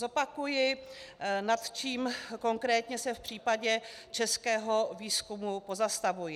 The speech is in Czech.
Zopakuji, nad čím konkrétně se v případě českého výzkumu pozastavuji.